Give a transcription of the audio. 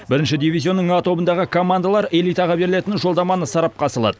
бірінші дивизионның а тобындағы командалар элитаға берілетін жолдаманы сарапқа салады